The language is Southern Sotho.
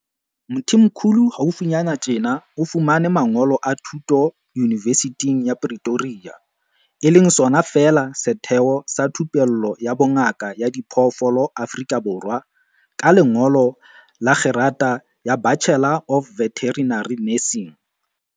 Mthimkhulu haufinyana tjena o fumane mangolo a thuto Yunivesithing ya Pre toria, UP, e leng sona feela setheo sa thupello ya bongaka ba diphoofolo Afrika Borwa, ka lengolo la kgerata ya Bachelor of Veterinary Nursing.